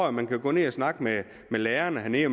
at man kan gå ned og snakke med lærerne hernede